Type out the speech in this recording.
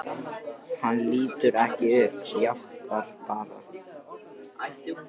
Hann lítur ekki upp, jánkar bara.